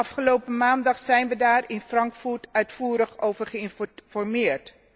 Afgelopen maandag zijn we daar in Frankfurt uitvoerig over geïnformeerd.